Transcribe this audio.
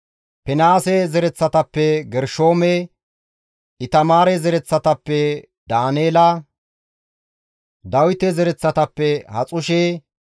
Finihaase zereththatappe Gershoome, Itamaare zereththatappe Daaneela, Dawite zereththatappe Haxushe,